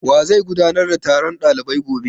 Wa zai gudanar da taron ɗalibai gobe?